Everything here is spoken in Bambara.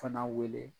Fana wele